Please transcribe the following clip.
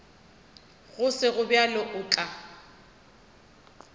go sego bjalo o tla